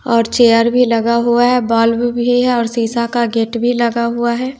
और चेयर भी लगा हुआ है बाल्ब शीशा का गेट भी लगा हुआ है।